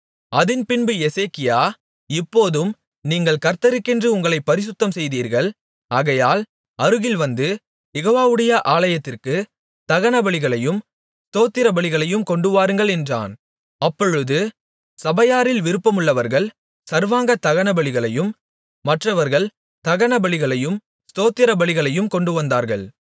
அதின்பின்பு எசேக்கியா இப்போதும் நீங்கள் கர்த்தருக்கென்று உங்களைப் பரிசுத்தம்செய்தீர்கள் ஆகையால் அருகில் வந்து யெகோவாவுடைய ஆலயத்திற்கு தகனபலிகளையும் ஸ்தோத்திரபலிகளையும் கொண்டுவாருங்கள் என்றான் அப்பொழுது சபையாரில் விருப்பமுள்ளவர்கள் சர்வாங்க தகனபலிகளையும் மற்றவர்கள் தகனபலிகளையும் ஸ்தோத்திரபலிகளையும் கொண்டுவந்தார்கள்